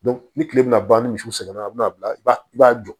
ni kile bɛna ban ni misiw sɛgɛnna a bɛ na bila i ba i b'a jɔ